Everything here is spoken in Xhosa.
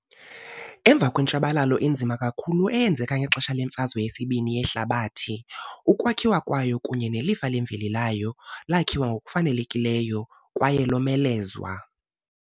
Emva kwentshabalalo enzima kakhulu eyenzeka ngexesha leMfazwe yesibini yeHlabathi, ukwakhiwa kwayo kunye nelifa lemveli layo lakhiwa ngokufanelekileyo kwaye lomelezwa.